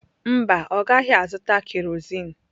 Mba, ọ gaghị azụta kerozin.